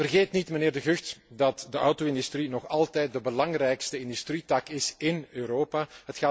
Vergeet niet, mijnheer De Gucht, dat de auto industrie nog altijd de belangrijkste industrietak in Europa is.